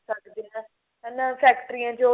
ਕਰ ਸਕਦੇ ਆਂ ਹਨਾ ਫੈਕਟਰੀਆਂ ਚੋ